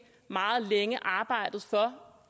meget længe har arbejdet for